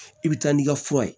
I bɛ taa n'i ka fura ye